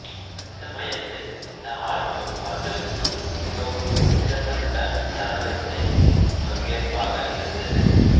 அச்சமயத்தில் இந்த ஆல்பம் அவர்களுக்கு மிகவும் குறிப்பிடத்தக்க தரவரிசை பங்கேற்பாக இருந்தது